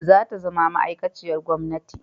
Za ta zama ma'aikaciyar gwamnati